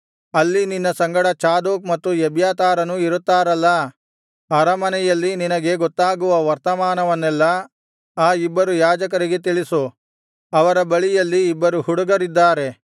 ಅಲ್ಲಿ ನಿನ್ನ ಸಂಗಡ ಚಾದೋಕ್ ಮತ್ತು ಎಬ್ಯಾತಾರನೂ ಇರುತ್ತಾರಲ್ಲಾ ಅರಮನೆಯಲ್ಲಿ ನಿನಗೆ ಗೊತ್ತಾಗುವ ವರ್ತಮಾನವನ್ನೆಲ್ಲ ಆ ಇಬ್ಬರು ಯಾಜಕರಿಗೆ ತಿಳಿಸು ಅವರ ಬಳಿಯಲ್ಲಿ ಇಬ್ಬರು ಹುಡುಗರಿದ್ದಾರೆ